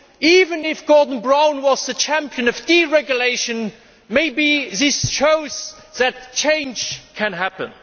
Even if Gordon Brown were the champion of deregulation, maybe this shows that change can happen.